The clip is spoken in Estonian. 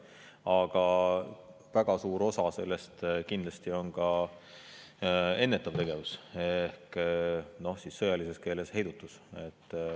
Aga väga suur osa sellest on kindlasti ennetav tegevus, sõjalises keeles heidutus.